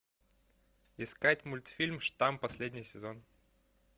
искать мультфильм штамм последний сезон